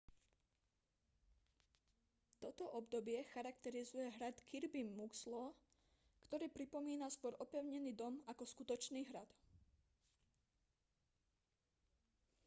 toto obdobie charakterizuje hrad kirby muxloe ktorý pripomína skôr opevnený dom ako skutočný hrad